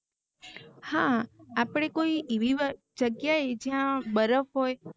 હા આપને કોઇ એવીવ જગ્યાએ જ્યા બરફ હોય